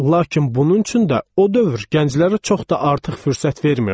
Lakin bunun üçün də o dövr gənclərə çox da artıq fürsət vermirdi.